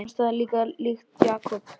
Henni fannst það líkt Jakob.